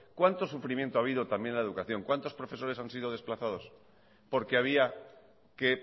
cuánto sufrimiento ha habido también en la educación cuántos profesores han sido desplazados porque había que